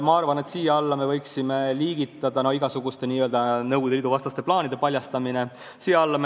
Ma arvan, et siia alla võiksime liigitada igasuguste n-ö Nõukogude Liidu vastaste plaanide paljastamise.